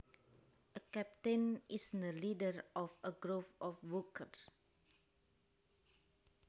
A captain is the leader of a group of workers